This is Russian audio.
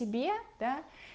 тебе да